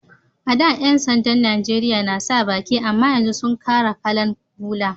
A'da Yan sanda'n Nijeriya na sa baki amma yanzu sun kara kala'n bula.